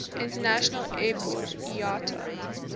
international airport iata